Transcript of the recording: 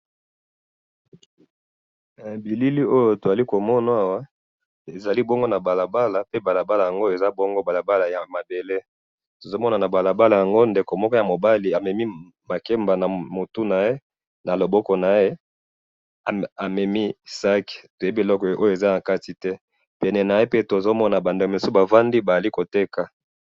Na moni elenge mobali amemi makemba na mutu na loboko na ye ya mobali amemi sac, batu mususu bazali koteka pembeni ya balabala,